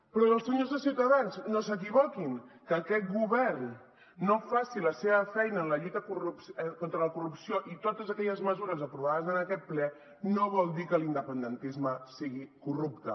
però senyors de ciutadans no s’equivoquin que aquest govern no faci la seva feina en la lluita contra la corrupció i totes aquelles mesures aprovades en aquest ple no vol dir que l’independentisme sigui corrupte